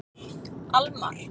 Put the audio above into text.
Almar